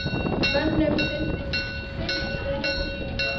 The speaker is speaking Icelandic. Mönnum sýndist sitthvað um þessa sýningu.